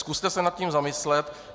Zkuste se nad tím zamyslet.